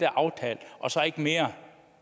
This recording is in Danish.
aftalt og så ikke mere